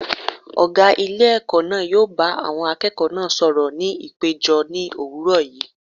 Ọ̀gá ilé ẹ̀kọ́ náà yóò bá àwọn akẹ́kọ̀ọ́ náà sọ̀rọ̀ ní ìpéjọ ní òwúrọ̀ yìí.